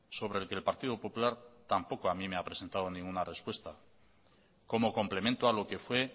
sobre el que el partido popular tampoco a mi me ha presentado ninguna respuesta como complemento a lo que fue